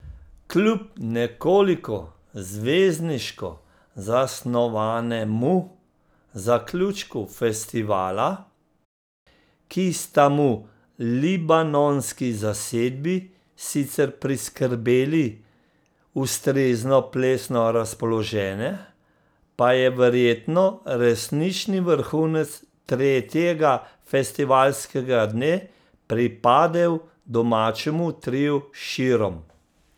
Kljub nekoliko zvezdniško zasnovanemu zaključku festivala, ki sta mu libanonski zasedbi sicer priskrbeli ustrezno plesno razpoloženje, pa je verjetno resnični vrhunec tretjega festivalskega dne pripadel domačemu triu Širom.